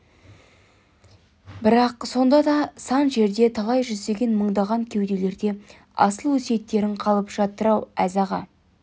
бірақ сонда да сан жерде талай жүздеген мыңдаған кеуделерде асыл өсиеттерің қалып жатыр-ау әз аға